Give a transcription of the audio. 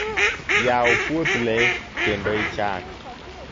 yaw puoth lee kendo ichak